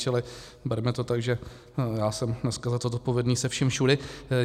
Čili berme to tak, že já jsem dneska za to zodpovědný se vším všudy.